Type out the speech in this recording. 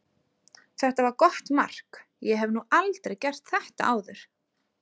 Þetta var gott mark, ég hef nú aldrei gert þetta áður.